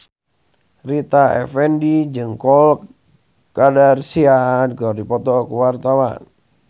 Rita Effendy jeung Khloe Kardashian keur dipoto ku wartawan